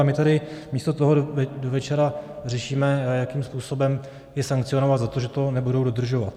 A my tady místo toho do večera řešíme, jakým způsobem je sankcionovat za to, že to nebudou dodržovat.